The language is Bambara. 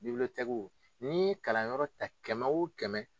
ni kalanyɔrɔ ta kɛmɛ wo kɛmɛ